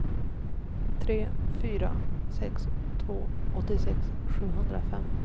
tre fyra sex två åttiosex sjuhundrafem